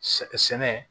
Sɛ sɛnɛ